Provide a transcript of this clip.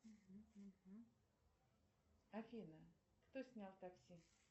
афина кто снял такси